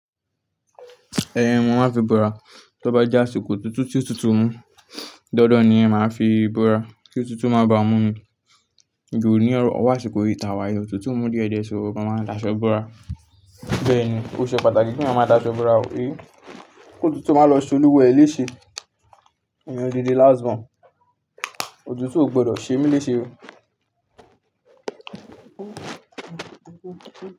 Ẹn, wọn ma fi bora. Tí ó bá jẹ́ àsìkò otutu tí òtútù mu danfan ni yẹn máa fi bora. Kí òtútù má bá ọ mú mí. Ju ní ọ̀wọ̀ àsìkò yìí tàwà yìí, òtútù ń mú diẹ̀diẹ̀ ṣò mo máa n dáṣọ́ bora. Bẹ́ẹ̀ ni, ó ṣe pàtàkì ki eyan máa dáṣọ́ bora o, kí òtútù má lọ se olúwa e lẹ́ṣẹ. Èèyàn di láásìbọn, òtútù ò gbọdọ̀ ṣe mí léṣe o.